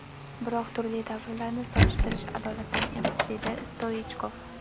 Biroq turli davrlarni solishtirish adolatdan emas”, deydi Stoichkov.